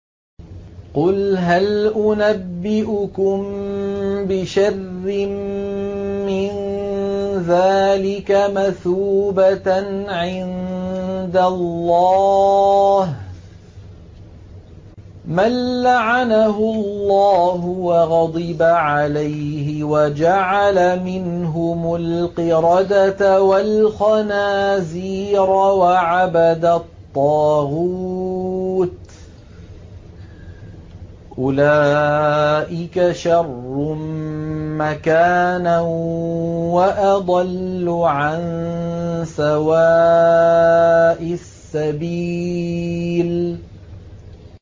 قُلْ هَلْ أُنَبِّئُكُم بِشَرٍّ مِّن ذَٰلِكَ مَثُوبَةً عِندَ اللَّهِ ۚ مَن لَّعَنَهُ اللَّهُ وَغَضِبَ عَلَيْهِ وَجَعَلَ مِنْهُمُ الْقِرَدَةَ وَالْخَنَازِيرَ وَعَبَدَ الطَّاغُوتَ ۚ أُولَٰئِكَ شَرٌّ مَّكَانًا وَأَضَلُّ عَن سَوَاءِ السَّبِيلِ